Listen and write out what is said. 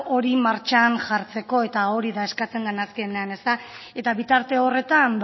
hori martxan jartzeko eta hori da eskatzen dena azkenean eta bitarte horretan